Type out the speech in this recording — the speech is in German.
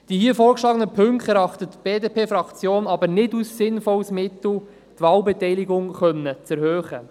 Die hier vorgeschlagenen Punkte erachtet die BDP-Fraktion aber nicht als sinnvolles Mittel, um die Wahlbeteiligung erhöhen zu können.